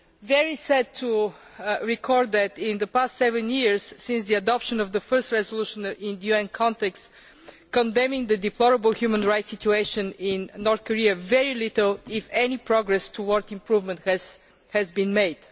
very sad to record that in the past seven years, since the adoption of the first resolution in the UN context condemning the deplorable human rights situation in North Korea, very little if any progress towards improvement has been made.